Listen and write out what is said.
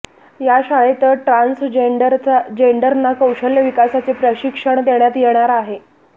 या शाळेत ट्रान्सजेंडरना कौशल्य विकासाचे प्रशिक्षण देण्यात येणार आहे